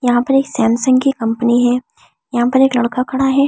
यहां पर एक सैमसंग की कंपनी है यहां पर एक लड़का खड़ा है।